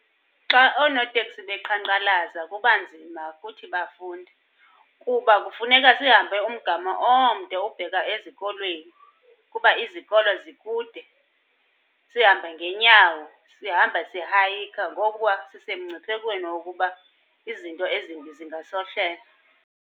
Xa oonoteksi beqhankqalaza kuba nzima kuthi bafundi, kuba kufuneka sihambe umgama omde ubheka ezikolweni kuba izikolo zikude. Sihambe ngeenyawo, sihamba sihayikha ngokuba sisemngciphekweni wokuba izinto ezimbi zingasehlela.